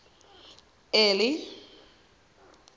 eli